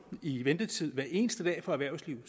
i ventetid hver eneste dag for erhvervslivet